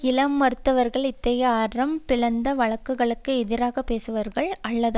இளம் மருத்துவர்கள் இத்தகைய அறம் பிறழ்ந்த வழக்கங்களுக்கு எதிராக பேசுபவர்கள் அல்லது